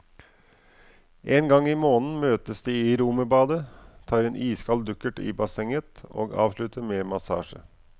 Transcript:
En gang i måneden møtes de i romerbadet, tar en iskald dukkert i bassenget og avslutter med massasje.